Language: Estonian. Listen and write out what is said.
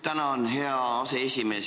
Tänan, hea aseesimees!